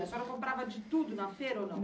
A senhora comprava de tudo na feira ou não?